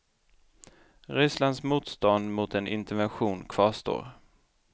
Rysslands motstånd mot en intervention kvarstår.